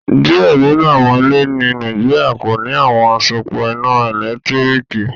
Diẹ ninu awọn ilẹ̀ ní Nàìjíríà kò ní awọn asòpọ iná èlẹ́tiríkì